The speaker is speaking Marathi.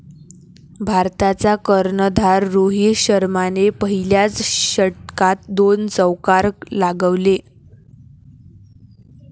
भारताचा कर्णधार रोहित शर्माने पहिल्याच षटकात दोन चौकार लगावले.